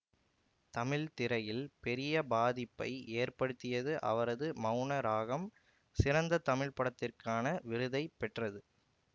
தமிழ்த்திரையில் பெரிய பாதிப்பை ஏற்படுத்தியது அவரது மௌன ராகம் சிறந்த தமிழ்படத்திற்கான விருதை பெற்றது